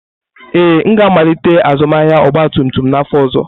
Ee, m ga-amalite azụmahịa ọgba tum tum n'afọ ọzọ.